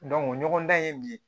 ɲɔgɔn dan ye mun ye